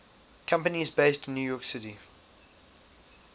companies based in new york city